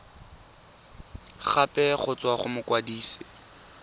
gape go tswa go mokwadise